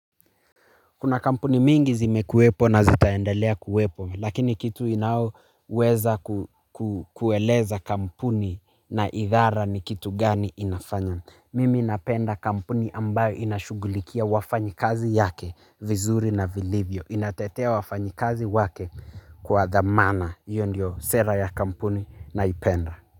Kuna kampuni mingi zimekuwepo na zitaendelea kuwepo lakini kitu inao weza kukueleza kampuni na idhara ni kitu gani inafanya. Mimi napenda kampuni ambayo inashugulikia wafanyikazi yake vizuri na vilivyo. Inatetea wafanyikazi wake kwa thamana iyo ndiyo sera ya kampuni naipenda.